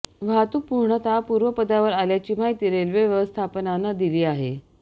वाहतूक पूर्णतः पूर्वपदावर आल्याची माहिती रेल्वे व्यवस्थापनानं दिली आहे